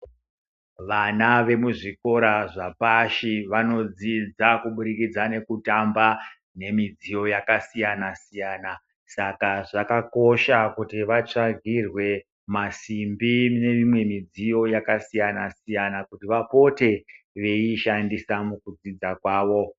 Vana vemuzvikora zvapashi vanodzidza kuburikidza nekutamba nemidziyo yakasiyana-siyana. Saka zvakakosha kuti vatsvagirwe, masimbi neimwe midziyo yakasiyana-siyana kuti vapote veiishandisa mukudzidza kwavo.